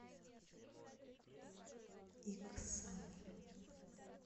иксан